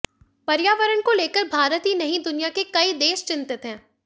पर्यावरण को लेकर भारत ही नहीं दुनिया के कई देश चिंतित हैं